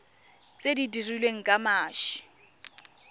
tse di dirilweng ka mashi